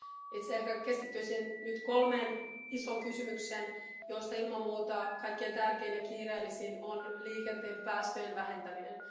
Itse ehkä keskittyisin nyt kolmeen isoon kysymykseen, joista ilman muuta kaikkein tärkein ja kiireellisin on liikenteen päästöjen vähentäminen.